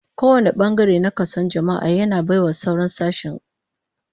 Kowane bangare na kason jama'a, yana bai wa sauran sashen girman sa